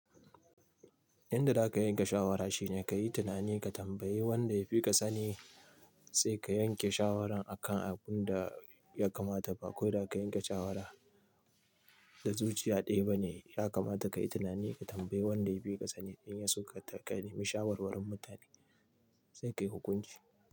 Inda za ka yanka shawara shine ka yi tunani ka tambayi wanda yafi ka sani sai ka yanke shawaran akan abun da ya kamata. Ba ko da ka yanke shawara da zuciya ɗaya ba ne, ya kamata ka yi tunani ka tambayi wanda yafi ka sani. In yaso ka nemi shawarwarin mutane sai ka yi hukunci.